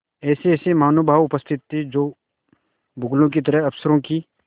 ऐसेऐसे महानुभाव उपस्थित थे जो बगुलों की तरह अफसरों की